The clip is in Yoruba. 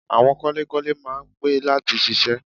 Àwọn kọ́lékọ́lé máa ń pẹ́ láti ṣiṣẹ́